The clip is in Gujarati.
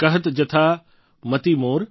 કહત જથા મતિ મોર